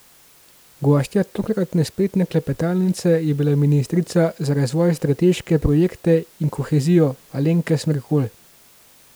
Gostja tokratne spletne klepetalnice je bila ministrica za razvoj, strateške projekte in kohezijo Alenka Smerkolj.